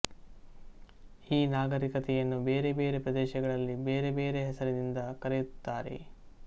ಈ ನಾಗರಿಕತೆಯನ್ನು ಬೇರೆ ಬೇರೆ ಪ್ರದೇಶಗಳಲ್ಲಿ ಬೇರೆ ಬೇರೆ ಹೆಸರಿನಿಂದ ಕರೆಯುತ್ತಾರೆ